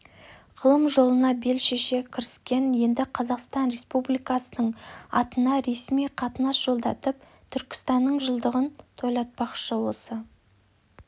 ғылым жолына бел шеше кіріскен енді қазақстан республикасының атынан ресми қатынас жолдатып түркістанның жылдығын тойлатпақшы осы